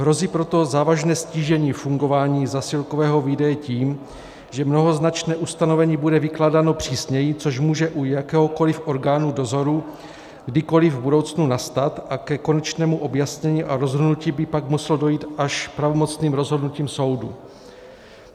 Hrozí proto závažné ztížení fungování zásilkového výdeje tím, že mnohoznačné ustanovení bude vykládáno přísněji, což může u jakéhokoliv orgánu dozoru kdykoliv v budoucnu nastat, a ke konečnému objasnění a rozhodnutí by pak muselo dojít až pravomocným rozhodnutím soudu.